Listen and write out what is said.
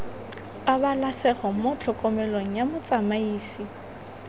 pabalesego mo tlhokomelong ya motsamaisi